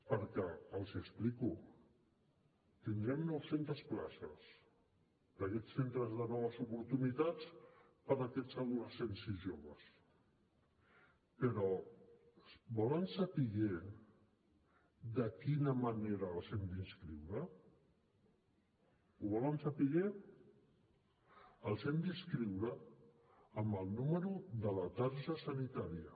perquè els ho explico tindrem nou centes places en aquests centres de noves oportunitats per a aquests adolescents i joves però volen saber de quina manera els hi hem d’inscriure ho volen saber els hi hem d’inscriure amb el número de la targeta sanitària